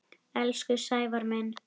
Elsku Sævar minn.